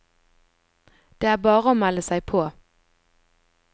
Det er bare å melde seg på.